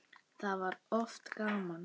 Þá var oft gaman.